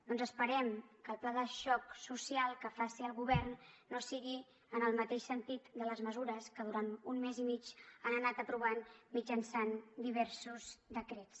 doncs esperem que el pla de xoc social que faci el govern no sigui en el mateix sentit de les mesures que durant un mes i mig han anat aprovant mitjançant diversos decrets